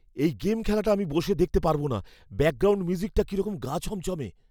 এই গেম খেলাটা আমি বসে দেখতে পারব না। ব্যাকগ্রাউন্ড মিউজিকটা কিরকম গা ছমছমে।